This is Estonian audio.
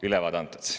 Ülevaade antud.